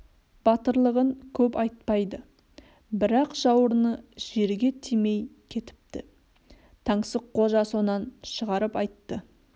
батырлығын көп айтпайды бірақ жауырыны жерге тимей кетіпті -таңсыққожа сонан шығарып айтты